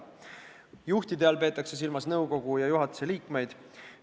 Juhtide all peetakse silmas nõukogu ja juhatuse liikmeid.